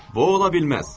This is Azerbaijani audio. Bu ola bilməz.